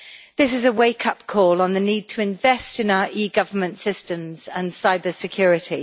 This is a wake-up call on the need to invest in our e government systems and cyber security.